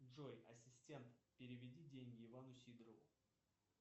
джой ассистент переведи деньги ивану сидорову